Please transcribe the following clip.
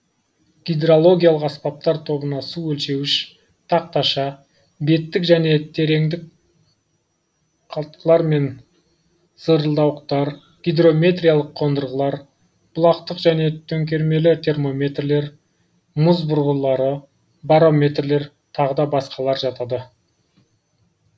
гидрологиялық аспаптар тобына су өлшеуіш тақташа беттік және тереңдік қалтқылар мен зырылдауықтар гидрометриялық қондырғылар бұлақтық және төңкермелі термометрлер мұз бұрғылары барометрлер тағы да басқалар жатады